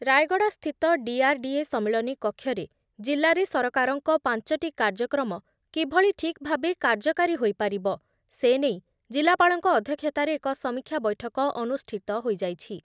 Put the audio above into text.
ରାୟଗଡ଼ାସ୍ଥିତ DRDA ସମ୍ମିଳନୀ କକ୍ଷରେ ଜିଲ୍ଲାରେ ସରକାରଙ୍କ ପାଞ୍ଚ ଟି କାର୍ଯ୍ୟକ୍ରମ କିଭଳି ଠିକ ଭାବେ କାର୍ଯ୍ୟକାରୀ ହୋଇପାରିବ, ସେ ନେଇ ଜିଲ୍ଲାପାଳଙ୍କ ଅଧ୍ୟକ୍ଷତାରେ ଏକ ସମୀକ୍ଷା ବୈଠକ ଅନୁଷ୍ଠିତ ହୋଇଯାଇଛି ।